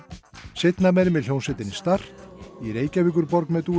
seinna meir með hljómsveitinni start í Reykjavíkurborg með